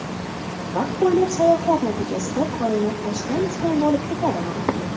Vaqt bo‘ylab sayohat natijasida koinot ostin-ustun bo‘lib ketadimi?